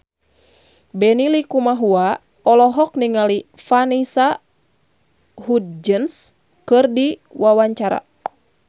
Benny Likumahua olohok ningali Vanessa Hudgens keur diwawancara